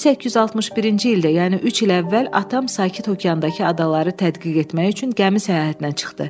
1861-ci ildə, yəni üç il əvvəl atam sakit okeandakı adaları tədqiq etmək üçün gəmi səyahətinə çıxdı.